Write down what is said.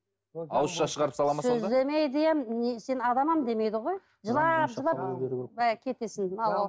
ауызша шығарып салады ма демейді ғой жылап жылап кетесің